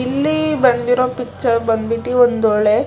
ಇಲ್ಲಿ ಬಂದಿರೋ ಪಿಕ್ಚರ್ ಬಂದಿರೋ ಪಿಕ್ಚರ್ ಬಂದ್ಬಿಟ್ಟಿ ಒಂದೊಳ್ಳೆ--